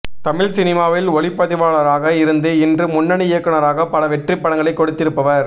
தமிழ் சினிமாவில் ஒளிப்பதிவாளராக இருந்து இன்று முன்னணி இயக்குனராக பல வெற்றிப் படங்களை கொடுத்திருப்பவர்